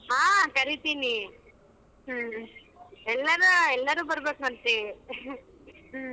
ಹಾ ಕರಿತಿನಿ ಎಲ್ಲರೂ ಎಲ್ಲರೂ ಬರಬೇಕಂತೆ .